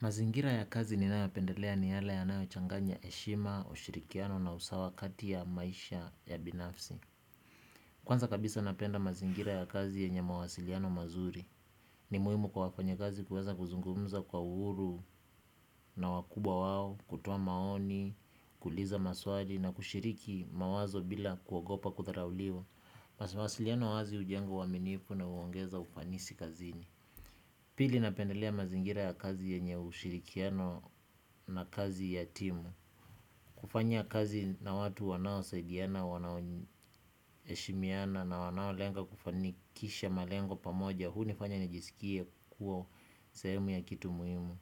Mazingira ya kazi ni nayoyapendelea ni yale ya nayo changanya heshima, ushirikiano na usawa kati ya maisha ya binafsi. Kwanza kabisa napenda mazingira ya kazi yenye mawasiliano mazuri. Ni muhimu kwa wafanya kazi kuweza kuzungumza kwa uhuru na wakubwa wao, kutoa maoni, kuuliza maswali na kushiriki mawazo bila kuogopa kutharauliwa. Masa mawasiliano wazi ujenga uaminifu na uongeza ufanisi kazini. Pili napendelea mazingira ya kazi yenye ushirikiano na kazi ya timu, kufanya kazi na watu wanao saidiana, wanao heshimiana na wanao lenga kufanikisha malengo pamoja, unifanya nijisikie kuo sehemu ya kitu muhimu,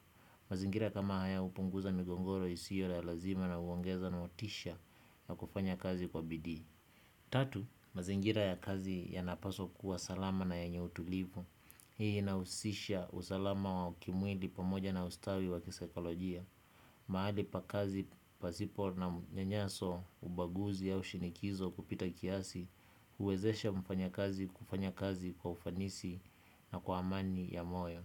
mazingira kama haya upunguza migongoro isiyo ya lazima na uongeza na watisha ya kufanya kazi kwa bidii. Tatu, mazingira ya kazi ya napaswa kuwa salama na yenye utulivu. Hii inahusisha usalama wa kimwili pamoja na ustawi wa kisaikolojia. Mahali pakazi pasipo na mnyanyaso ubaguzi au shinikizo kupita kiasi, huwezesha mfanya kazi kufanya kazi kwa ufanisi na kwa amani ya moyo.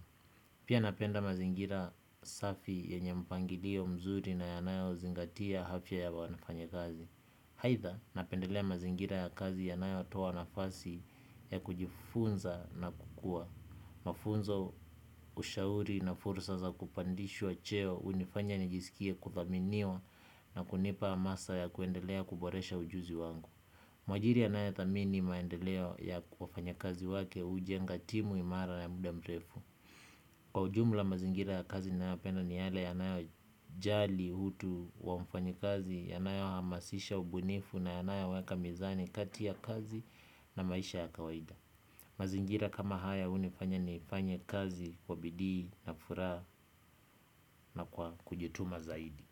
Pia napenda mazingira safi yenye mpangilio mzuri na yanayo zingatia afya ya wanafanya kazi. Haitha napendelea mazingira ya kazi yanayo toa nafasi ya kujifunza na kukua. Mafunzo ushauri na fursa za kupandishwa cheo unifanya nijisikie kuthaminiwa na kunipa hamasa ya kuendelea kuboresha ujuzi wangu. Mwajiri anaye thamini maendeleo ya wafanya kazi wake ujenga timu imara na ya muda mrefu. Kwa ujumla mazingira ya kazi nina yopenda ni yale yanayo jali utu wa mfanyi kazi, yanayo hamasisha ubunifu na yanayo weka mizani kati ya kazi na maisha ya kawaida. Mazingira kama haya unifanya ni ifanye kazi kwa bidii na furaha na kwa kujituma zaidi.